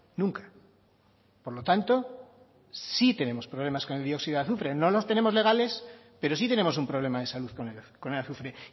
nunca por lo tanto sí tenemos problemas con el dióxido de azufre no los tenemos legales pero sí tenemos un problema de salud con el azufre